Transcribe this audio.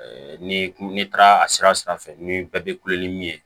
ni n'i taara a sira fɛ ni bɛɛ bɛ kulon ni min ye